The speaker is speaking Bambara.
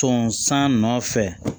Tonsan nɔfɛ